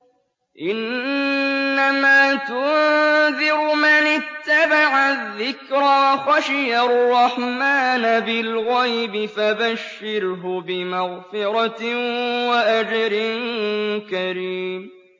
إِنَّمَا تُنذِرُ مَنِ اتَّبَعَ الذِّكْرَ وَخَشِيَ الرَّحْمَٰنَ بِالْغَيْبِ ۖ فَبَشِّرْهُ بِمَغْفِرَةٍ وَأَجْرٍ كَرِيمٍ